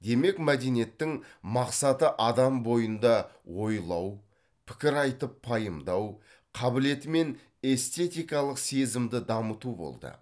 демек мәдениеттің мақсаты адам бойында ойлау пікір айтып пайымдау қабілеті мен эстетикалық сезімді дамыту болды